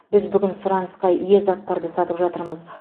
біз бүгін сұранысқа ие заттарды сатып жатырмыз